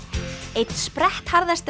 einn